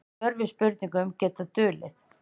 Svör við spurningum geta dulið.